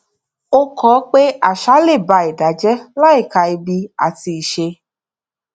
ó kọ pé àṣà le ba ẹdá jẹ láìka ibi àti iṣé